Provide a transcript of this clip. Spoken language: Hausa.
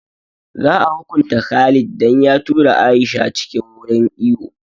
Za a hukunta Khalid dan ya tura Aisha cikin wurin iwo